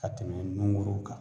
Ka tɛmɛ nungurun kan